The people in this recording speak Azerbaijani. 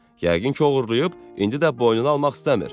Yəqin ki oğurlayıb, indi də boynuna almaq istəmir.